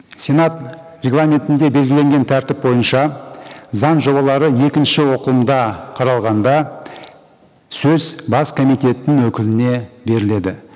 сенат регламентінде белгіленген тәртіп бойынша заң жобалары екінші оқылымда қаралғанда сөз бас комитеттің өкіліне беріледі